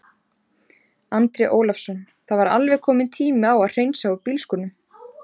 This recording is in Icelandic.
Andri Ólafsson: Það var alveg kominn tími á að hreinsa úr bílskúrnum?